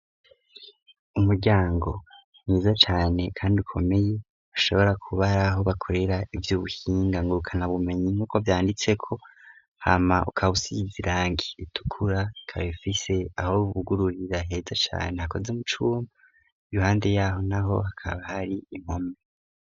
Umuryango mwiza cane kandi ukomeye, ushobora kuba ari aho bakorera ivy'ubuhinga ngurukanabumenyi, nk'uko vyanditseko. Hama ukaba usize irangi ritukura, ikaba ifise aho bugururira heza cane hakoze mu cuma. Iruhande y'aho n'aho, hakaba har'impome.